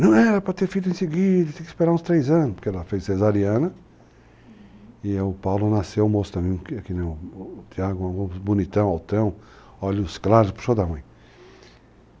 Não era para ter feito em seguida, tinha que esperar uns três anos, porque ela fez cesariana, uhum, e o Paulo nasceu moço também, que é que nem o Tiago, bonitão, altão, olhos claros, puxou da mãe.